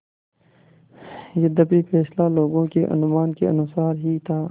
यद्यपि फैसला लोगों के अनुमान के अनुसार ही था